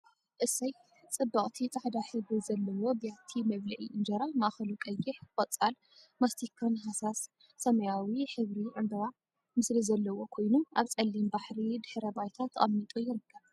እሰይ! ፅብቅቲ ፃዕዳ ሕብሪ ዘለዎ ብያቲ መብልዒ እንጀራ ማእከሉ ቀይሕ፥ ቆፃል፥ ማስቲካን ሃሳስ ሰማያዊ ሕብሪ ዕምበባ ምስሊ ዘለዎ ኮይኑ ኣብ ፀሊም ሕብሪ ድሕረ ባይታ ተቀሚጡ ይርከብ።